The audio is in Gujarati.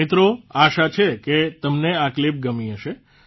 મિત્રો આશા છે કે તમને આ ક્લીપ ગમી હશે